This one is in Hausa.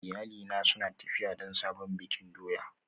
Iyalina suna tafiya don sabon bikin doya